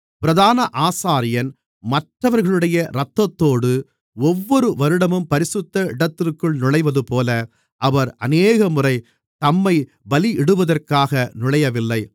பிரதான ஆசாரியன் மற்றவர்களுடைய இரத்தத்தோடு ஒவ்வொரு வருடமும் பரிசுத்த இடத்திற்குள் நுழைவதுபோல அவர் அநேகமுறை தம்மைப் பலியிடுவதற்காக நுழையவில்லை